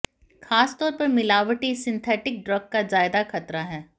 खासतौर पर मिलावटी सिंथेटिक ड्रग का ज्यादा खतरा है